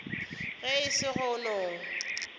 ge e se go no